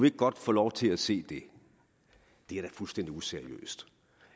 ikke godt få lov til at se det det er da fuldstændig useriøst